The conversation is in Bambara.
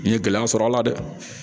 N ye gɛlɛya sɔrɔ a la dɛ